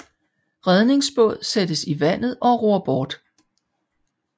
Redningsbåd sættes i vandet og ror bort